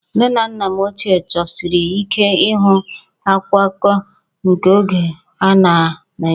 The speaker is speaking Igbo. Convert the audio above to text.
Nne na nna m ochie chọsiri ike ịhụ akwụkwọ akụkọ nke oge a na Naịjirịa